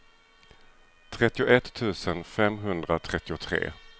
trettioett tusen femhundratrettiotre